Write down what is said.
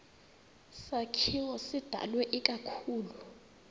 sakhiwo sidalwe ikakhulu